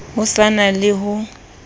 ho sa na le ho